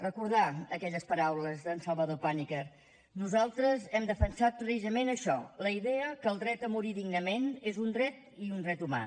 recordar aquelles paraules d’en salvador pàniker nosaltres hem defensat precisament això la idea que el dret a morir dignament és un dret i un dret humà